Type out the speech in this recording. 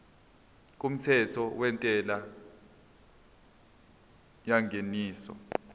kumthetho wentela yengeniso